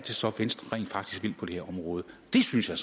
så er venstre rent faktisk vil på det her område det synes jeg